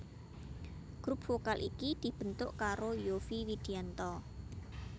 Grup vokal iki dibentuk karo Yovie Widianto